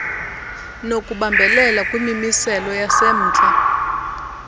nokubambelela kwimimiselo yasemntla